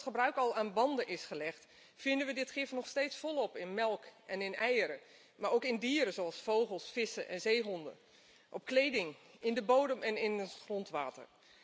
Ondanks het feit dat het gebruik al aan banden is gelegd, vinden we dit gif nog steeds volop terug in melk en eieren, maar ook in dieren, zoals vogels, vissen en zeehonden, op kleding, in de bodem en in het grondwater.